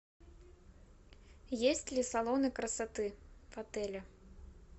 есть ли салоны красоты в отеле